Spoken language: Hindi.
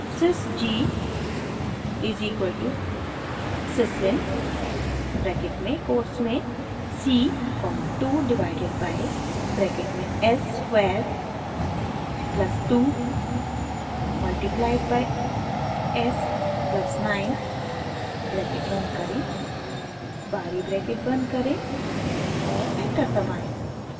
sys g is equal to syslin bracket में कोट्स में c comma 2 divided by bracket में s square plus 2 multiplied by s plus 9 bracket बंद करें बाहरी ब्रैकेट बंद करें और एंटर दबाएं